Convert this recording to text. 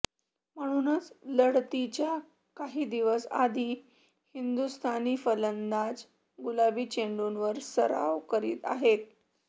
म्हणूनच लढतीच्या काही दिवस आधी हिंदुस्थानी फलंदाज गुलाबी चेंडूंवर सराव करीत आहेत